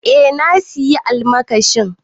Eh na sayi almakashin.